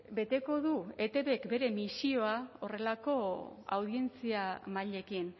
beteko du etbk bere misioa horrelako audientzia mailekin